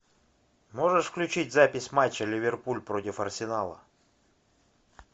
можешь включить запись матча ливерпуль против арсенала